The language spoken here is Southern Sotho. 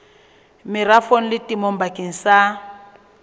merafong le temong bakeng sa